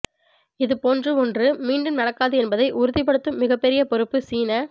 இது போன்று ஒன்று மீண்டும் நடக்காது என்பதை உறுதிப்படுத்தும் மிகப்பெரிய பொறுப்பு சீன